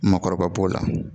Makɔrɔba b'o la